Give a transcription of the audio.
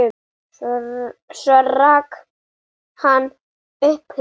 Svo rak hann upp hlátur.